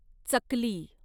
चकली